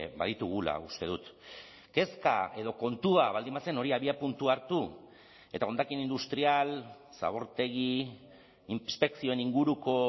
baditugula uste dut kezka edo kontua baldin bazen hori abiapuntu hartu eta hondakin industrial zabortegi inspekzioen inguruko